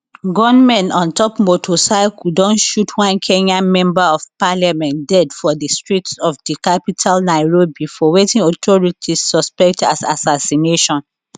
gunmen on top motorcycle don shoot one kenyan member of parliament dead for di streets of di capital nairobi for wetin authorities suspect as assassination